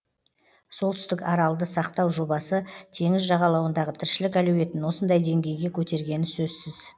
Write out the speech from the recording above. солтүстік аралды сақтау жобасы теңіз жағалауындағы тіршілік әлеуетін осындай деңгейге көтергені сөзсіз